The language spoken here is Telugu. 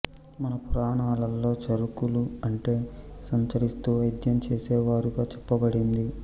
మన పురాణాలలో చరకులు అంటే సంచరిస్తూ వైద్యం చేసేవారుగా చెప్పబడింది